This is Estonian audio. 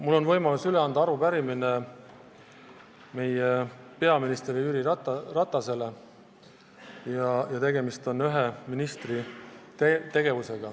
Mul on võimalus anda üle arupärimine meie peaminister Jüri Ratasele ja see puudutab ühe ministri tegevust.